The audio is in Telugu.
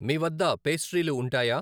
మీవద్ద పేస్ట్రీలు ఉంటాయా?